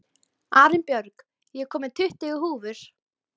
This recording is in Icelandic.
Arinbjörg, ég kom með tuttugu húfur!